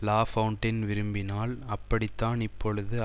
Lafontaine விரும்பினால் அப்படித்தான் இப்பொழுது